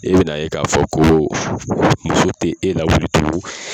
E bɛ na ye ka fɔ ko muso tɛ e lawuli tugun